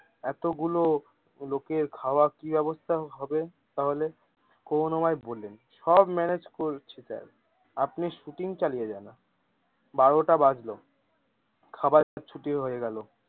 এতগুলো লোকের খাওয়া কি ব্যবস্থা হবে, তাহলে করুনাময় বললেন সব manage করছি তাই আপনি শুটিং চালিয়ে যান। আপনার বারোটা বাজলো খাবার ছুটি হয়ে গেলো।